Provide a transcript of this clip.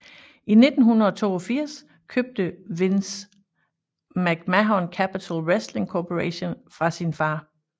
I 1982 købte Vince McMahon Capitol Wrestling Corporation fra hans far